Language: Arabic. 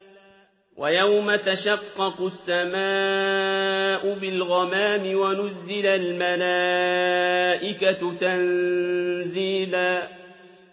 وَيَوْمَ تَشَقَّقُ السَّمَاءُ بِالْغَمَامِ وَنُزِّلَ الْمَلَائِكَةُ تَنزِيلًا